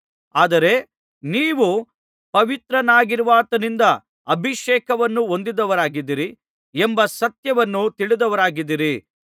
ಆದರೆ ನೀವು ಪವಿತ್ರನಾಗಿರುವಾತನಿಂದ ಅಭಿಷೇಕವನ್ನು ಹೊಂದಿದವರಾಗಿದ್ದೀರಿ ಎಂಬ ಸತ್ಯವನ್ನೂ ತಿಳಿದವರಾಗಿದ್ದೀರಿ